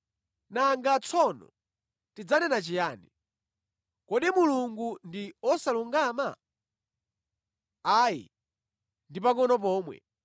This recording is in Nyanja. Nanga tsono tidzanena chiyani? Kodi Mulungu ndi osalungama? Ayi, ndi pangʼono pomwe!